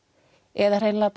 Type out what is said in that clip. eða hreinlega